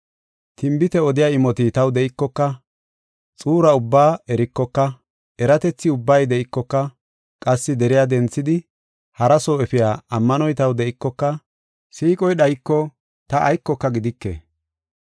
Tinbite odiya imoti taw de7ikoka, xuura ubbaa erikoka, eratethi ubbay de7ikoka, qassi deriya denthidi haraso efiya ammanoy taw de7ikoka, siiqoy dhayiko, ta aykoka gidike.